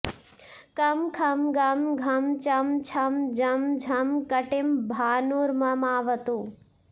कं खं गं घं चं छं जं झं कटिं भानुर्ममावतु